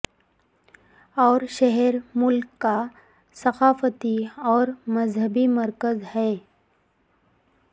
اور شہر ملک کا ثقافتی اور مذہبی مرکز ہے